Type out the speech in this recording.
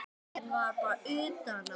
Jafnan fyrir þennan útdrátt er